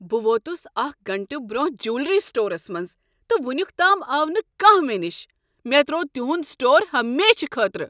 بہٕ ووتس اکھ گٲنٛٹہٕ برونٛہہ جویلری سٹورس منٛز تہٕ ونیک تام آو نہ کانہہ مےٚ نش۔ مےٚ تروو تُہند سٹور ہمیشہٕ خٲطرٕ۔